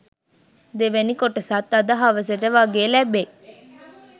දෙවැනි කොටසත් අද හවසට වගේ ලැබෙයි